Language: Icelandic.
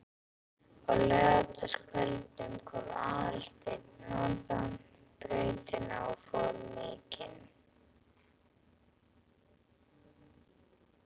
Á laugardagskvöldum kom Aðalsteinn norðan brautina og fór mikinn.